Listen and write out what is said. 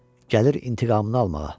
Gəlir intiqamını almağa.